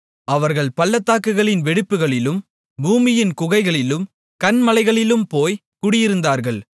அவர்கள் பள்ளத்தாக்குகளின் வெடிப்புகளிலும் பூமியின் குகைகளிலும் கன்மலைகளிலும் போய் குடியிருந்தார்கள்